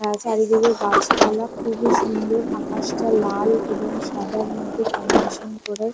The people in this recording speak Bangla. আহ চারিদিকে গাছপালা খুবই সুন্দর আকাশটা লাল এবং সাদার মধ্যে কম্বিনেশন করে ।